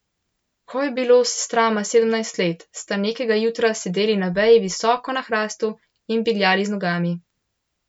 Ko je bilo sestrama sedemnajst let, sta nekega jutra sedeli na veji visoko na hrastu in bingljali z nogami.